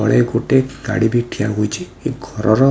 ତଳେ ଗୋଟେ ଗାଡ଼ି ବି ଠିଆ ହୋଇଛି। ଏ ଘରର --